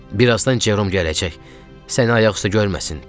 Bir azdan Cerom gələcək, səni ayaq üstə görməsin, dedi.